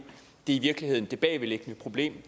i virkeligheden det bagvedliggende problem